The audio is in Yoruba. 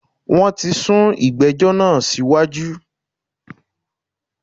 Wọn tí sún ìgbẹ́jọ́ náà síwájú